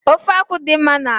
Ofe akwụ dị mma n'arụ